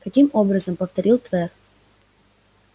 каким образом повторил твер